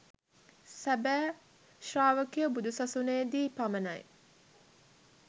සැබෑ ශ්‍රාවකයෝ බුදු සසුනේදී පමණයි